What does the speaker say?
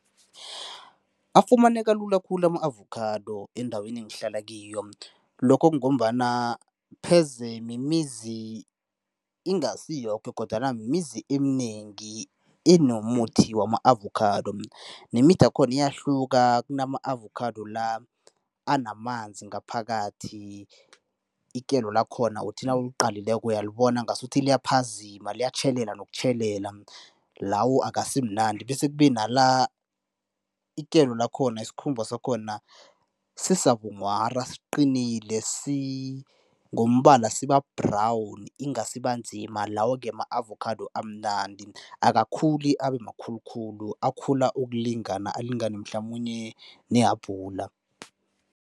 Afumaneka lula khulu ama-avokhado endaweni engihlala kiyo. Lokho kungombana pheze mimizi, ingasi yoke kodwana mimizi eminengi enomuthi wama-avokhado. Nemithi yakhona iyahluka, kunama-avokhado la anamanzi ngaphakathi, ikelo lakhona uthi nawuqalileko uyalibona ngasuthi liyaphazima, liyatjhelela nokutjhelela, lawo akasimnandi bese kube nala ikelo lakhona, isikhumba sakhona sisabunghwara, siqinile ngombala siba-brown inga siba nzima, lawo-ke ma-avokhado amnandi. Akakhuli abe makhulu khulu, ukulingana, alingane mhlamunye nehabhula.